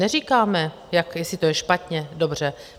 Neříkáme, jestli to je špatně - dobře.